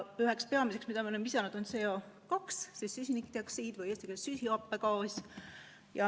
Üks peamine gaas, mida me oleme lisanud, on CO2, süsinikdioksiid või eesti keeles ka süsihappegaas.